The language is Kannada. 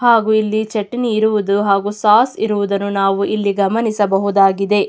ಹಾಗು ಇಲ್ಲಿ ಚಟ್ನಿ ಇರುವುದು ಹಾಗು ಸಾಸ್ ಇರುವುದನ್ನು ನಾವು ಇಲ್ಲಿ ಗಮನಿಸಬಹುದಾಗಿದೆ.